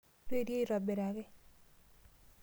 Rorie aitobiraki.